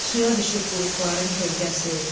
Suya düşüb buruqların kölgəsi.